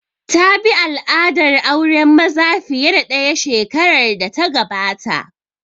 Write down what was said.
Ta bi al'adar auren maza fiye da ɗaya shekarar da ta gabata